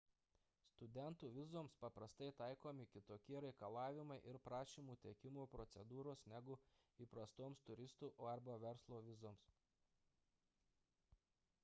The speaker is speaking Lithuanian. studentų vizoms paprastai taikomi kitokie reikalavimai ir prašymų teikimo procedūros negu įprastoms turistų arba verslo vizoms